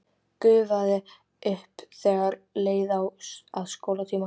Gufaði upp þegar leið að skólatíma.